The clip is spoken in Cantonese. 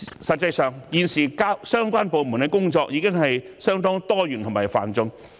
實際上，現時相關部門的工作已經相當多元和繁重。